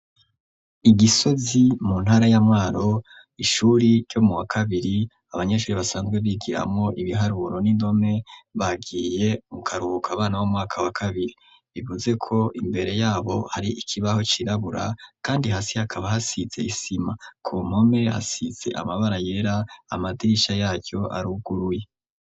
I gisozi mu ntara ya mwaro ishuri ryo mu wa kabiri abanyeshuri basanzwe bigiramo ibiharuro n'indome bagiye mukaruhuka abana bo mu mwaka wa kabiri bivuze ko imbere yabo hari ikibaho cirabura kandi hasi hakaba hasitse isima ku npomere hasitse amabara yera amadirisha yacyo aruguruye.